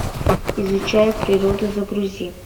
изучая природу загрузи